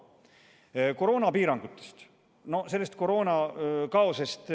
Nüüd koroonapiirangutest, koroonakaosest.